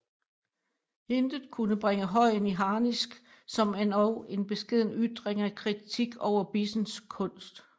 Intet kunne bringe Høyen i harnisk som endog en beskeden ytring af kritik over Bissens kunst